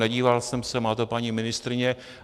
Nedíval jsem se, má to paní ministryně.